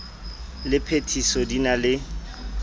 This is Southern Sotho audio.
le phethiso di na le